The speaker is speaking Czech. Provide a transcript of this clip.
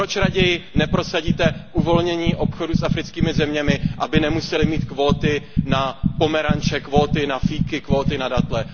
Proč raději neprosadíte uvolnění obchodu s africkými zeměmi, aby nemusely mít kvóty na pomeranče, kvóty na fíky, kvóty na datle.